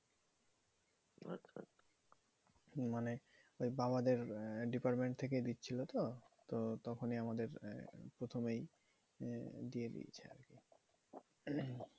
মানে ওই বাবাদের আহ department থেকেই দিচ্ছিলোতো? তো তখনই আমাদের আহ প্রথমেই দিয়ে দিয়েছিলো।